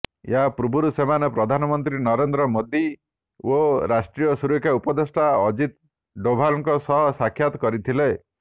ଏହାପୂର୍ବରୁ ସେମାନେ ପ୍ରଧାନମନ୍ତ୍ରୀ ନରେନ୍ଦ୍ର ମୋଦି ଓ ରାଷ୍ଟ୍ରୀୟ ସୁରକ୍ଷା ଉପଦେଷ୍ଟା ଅଜିତ ଡୋଭାଲଙ୍କ ସହ ସାକ୍ଷାତ କରିଥିଲେ